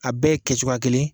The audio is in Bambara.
A bɛ kɛcogoya ye kelen ye